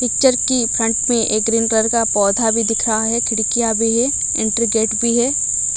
Picture की front में एक ग्रीन कलर का पौधा भी दिख रहा है खिड़कियां भी है एंट्री गेट भी है।